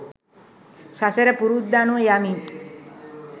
සසර පුරුද්ද අනුව යමින්